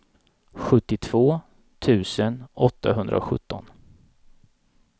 sjuttiotvå tusen åttahundrasjutton